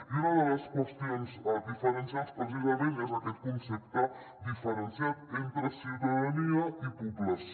i una de les qüestions diferencials precisament és aquest concepte diferenciat entre ciutadania i població